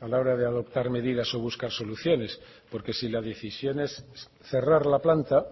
a la hora de adoptar medidas o buscar soluciones porque si la decisión es cerrar la planta